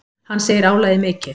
Hann segir álagið mikið.